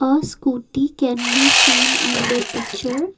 A scooty can be seen in the picture.